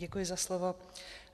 Děkuji za slovo.